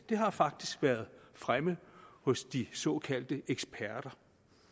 har faktisk været fremme hos de såkaldte eksperter